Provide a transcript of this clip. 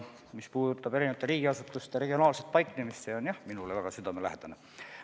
Mis puudutab eri riigiasutuste regionaalset paiknemist, siis see on jah minule väga südamelähedane teema.